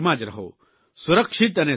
સુરક્ષિત અને સાવચેત રહો